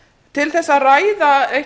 til að ræða eitt